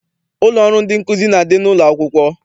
Ụlọ ọrụ ndị nkụzi na-adị n'ụlọakwụkwọ.